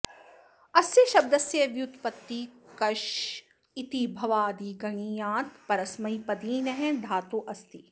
अस्य शब्दस्य व्युत्पत्तिः कष् इति भ्वादिगणीयात् परस्मैपदिनः धातोः अस्ति